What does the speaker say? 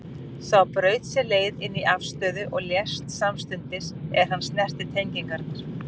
Sá braut sér leið inn í aflstöð og lést samstundis er hann snerti tengingarnar.